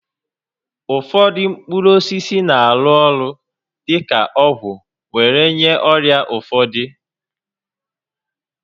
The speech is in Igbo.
Ụfọdụ mkpụrụ osisi na-arụ orụ dị ka ọgwụ were nye ọrịa ụfọdụ